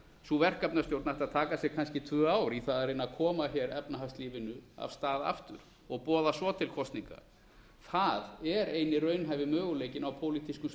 sú verkefnastjórn ætti að taka sig kannski tvö ár í að reyna að koma efnahagslífinu af stað aftur og boða svo til kosninga það er eini raunhæfi möguleikinn á pólitískum